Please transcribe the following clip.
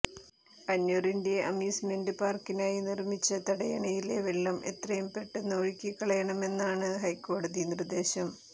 അന്വറിന്റെ amusement പാര്ക്കിനായി നിര്മിച്ച തടയണയിലെ വെള്ളം എത്രയും പെട്ടെന്ന് ഒഴുക്കി കളയണമെന്നാണ് ഹൈക്കോടതി നിര്ദ്ദേശം